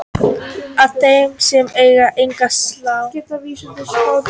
að þeir sem eiga enga sál